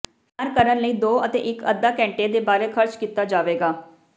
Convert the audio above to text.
ਤਿਆਰ ਕਰਨ ਲਈ ਦੋ ਅਤੇ ਇੱਕ ਅੱਧਾ ਘੰਟੇ ਦੇ ਬਾਰੇ ਖਰਚ ਕੀਤਾ ਜਾਵੇਗਾ